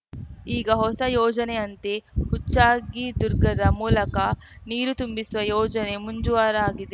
ಈಗ ಹೊಸ ಯೋಜನೆಯಂತೆ ಹುಚ್ಚಗಿದುರ್ಗದ ಮೂಲಕ ನೀರು ತುಂಬಿಸುವ ಯೋಜನೆ ಮುಂಜೂವ ರಾಗಿದೆ